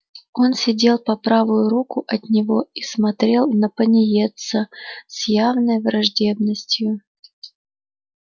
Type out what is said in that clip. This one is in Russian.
он сидел по правую руку от него и смотрел на пониетса с явной враждебностью